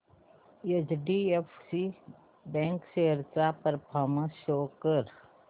HDFC bank shares चा performance show कर